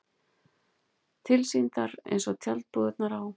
Tilsýndar eins og tjaldbúðirnar á